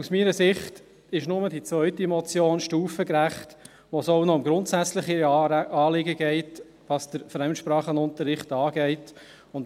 Denn meiner Ansicht nach ist nur die zweite Motion stufengerecht, in der es auch noch um grundsätzlichere Anliegen geht, was den Fremdsprachenunterricht anbelangt.